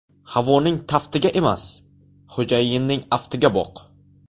Havoning taftiga emas, xo‘jayinning aftiga boq.